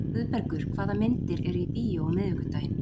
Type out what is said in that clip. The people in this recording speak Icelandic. Guðbergur, hvaða myndir eru í bíó á miðvikudaginn?